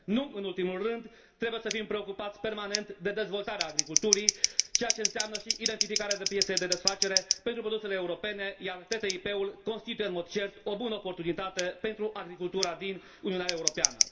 Nu în ultimul rând, trebuie să fim preocupați permanent de dezvoltarea agriculturii, ceea ce înseamnă și identificarea de piețe de desfacere pentru produsele europene, iar TTIP ul constituie, în mod cert, o bună oportunitate pentru agricultura din Uniunea Europeană.